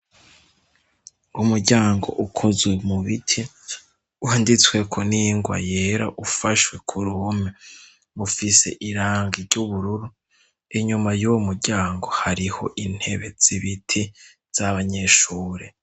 Umuryango ukozwe mu biti whanditsweko n'ingwa yera ufashwe ku ruhume mufise iranga ry'ubururu inyuma y'uwo muryango hariho intebe zibiti z'abanyeshure.